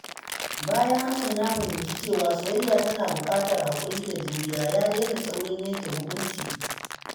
Bayan Hassan ya fahimci cewa soyayya tana buƙatar haƙuri da juriya, ya daina saurin yanke hukunci.